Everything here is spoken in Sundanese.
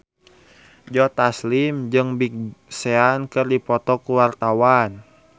Joe Taslim jeung Big Sean keur dipoto ku wartawan